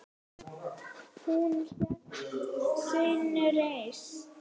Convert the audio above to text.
Hún hélt sinni reisn.